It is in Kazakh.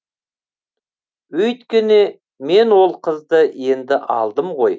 өйткені мен ол қызды енді алдым ғой